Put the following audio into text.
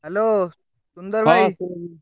Hello ସୁନ୍ଦର ଭାଇ।